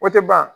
O tɛ ban